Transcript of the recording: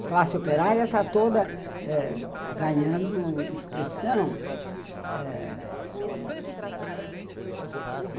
A classe operária está toda eh ganhando expressão.